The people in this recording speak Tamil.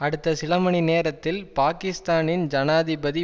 அடுத்த சில மணி நேரத்தில் பாக்கிஸ்தானின் ஜனாதிபதி